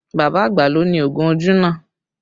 Bàbá àgbà ló ni oògùn ojú náà